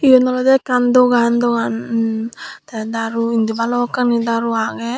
yen olodey ekkan dogan dogan enm tey daru indi balokkani daru agey.